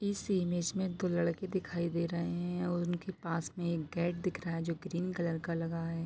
इस इमेज में दो लड़के दिखाई दे रहे है और उनके पास एक गेट दिख रहा है जो ग्रीन कलर का लगा है।